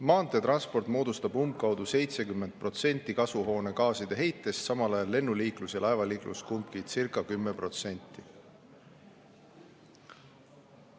Maanteetransport moodustab umbkaudu 70% kasvuhoonegaaside heitest, samal ajal lennuliiklus ja laevaliiklus kumbki circa 10%.